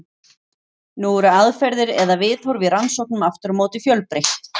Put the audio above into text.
Nú eru aðferðir eða viðhorf í rannsóknum aftur á móti fjölbreytt.